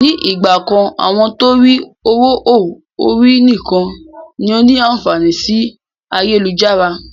Ni ìgbàkan àwọn torí ọwọ họ̀ ọ̀rí nìkan ni ó ní àǹfààní sì ayélujára.